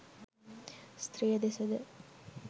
ස්ත්‍රිය දෙස ද